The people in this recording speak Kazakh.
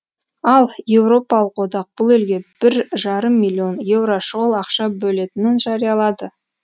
ал еуропалық одақ бұл елге бір жарым миллион еуро шұғыл ақша бөлетінін жариялады